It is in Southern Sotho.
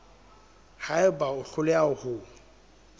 ha eba o hloleha ho